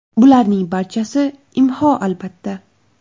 Bularning barchasi IMHO, albatta.